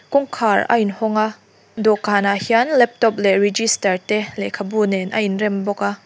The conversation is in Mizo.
kawngkhar a in hawng a dawhkan ah hian laptop leh register te lehkhabu nen a in rem bawk a.